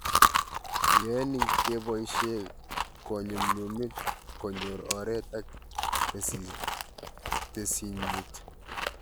Yae ni cheboishe konyumnyumit konyor oret ak tesisyit